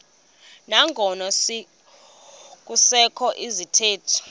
nangona kusekho izithethi